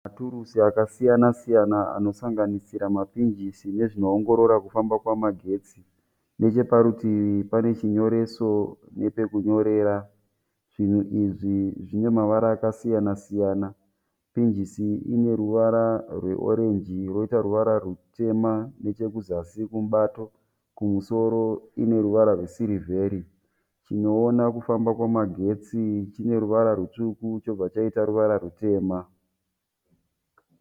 Maturusa akasiyana siyana anosanganisira mapinjisi nezvinoongorora kufamba kwemagetsi. Necheparutivi pane chinyoreso nepekunyorera. Zvinhu izvi zvine mavara akasiyana siyana. Pinjisi ine ruvara rweorenji yoita ruvara rutema nechekuzasi kumubato. Kumusoro ine ruvara rwesirivheri. Chinoona kufamba kwamagetsi chine ruvara rutsvuku chobva chaita ruvara rutema.